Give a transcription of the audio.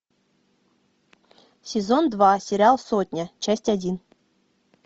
сезон два сериал сотня часть один